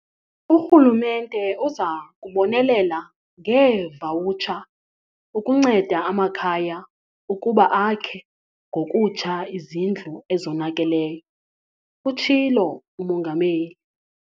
Urhulumente uza kubonelela ngeevawutsha ukunceda amakhaya ukuba akhe ngokutsha izindlu ezonakeleyo, utshilo uMongameli.